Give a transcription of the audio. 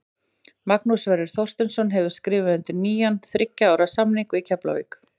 Magnús Sverrir Þorsteinsson hefur skrifað undir nýjan þriggja ára samning við Keflavík.